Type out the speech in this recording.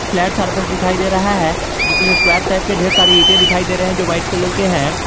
Flat surface दिखाई दे रहा है जिसमें स्क्वायर शेप के ढेर सारी ईटे दिखाई दे रहे हैं जो वाइट कलर के हैं।